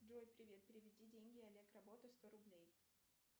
джой привет переведи деньги олег работа сто рублей